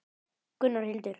Gunnar og Hildur.